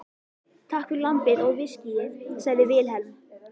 Takk fyrir lambið og viskíið, sagði Vilhelm.